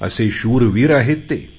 असे शूरवीर आहेत ते